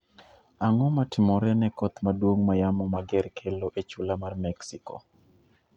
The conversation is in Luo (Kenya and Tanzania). Ang'o matimore ne koth maduong' ma yamo mager kelo e chula mar Mexico?